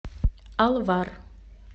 алвар